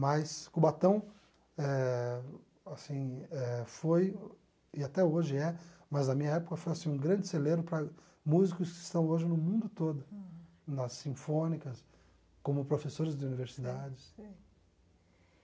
Mas Cubatão eh assim eh foi, e até hoje é, mas na minha época foi assim um grande celeiro para músicos que estão hoje no mundo todo, nas sinfônicas, como professores de universidades.